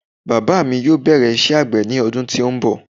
Bàbá mi yóò bẹ̀rẹ̀ iṣẹ́ àgbẹ̀ ní ọdún tí ó ń bọ̀